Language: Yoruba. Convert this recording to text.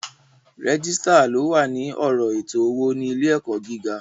Régísítà ni o wà ní ọ̀rọ̀ ètò owó ní ilé ẹ̀kọ́ gíga